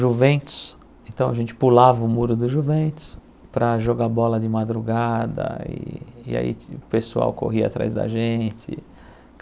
Juventus, então a gente pulava o muro do Juventus para jogar bola de madrugada e e aí o pessoal corria atrás da gente.